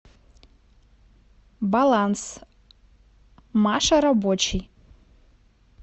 баланс маша рабочий